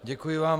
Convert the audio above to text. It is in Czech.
Děkuji vám.